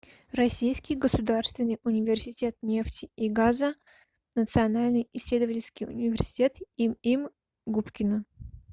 российский государственный университет нефти и газа национальный исследовательский университет им им губкина